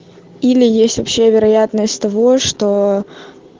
или есть вообще вероятность того что